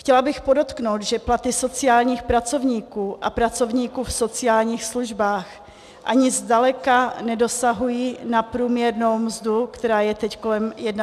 Chtěla bych podotknout, že platy sociálních pracovníků a pracovníků v sociálních službách ani zdaleka nedosahují na průměrnou mzdu, která je teď kolem 31 tisíc.